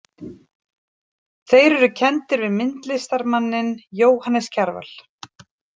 Þeir eru kenndir við myndlistarmanninn Jóhannes Kjarval.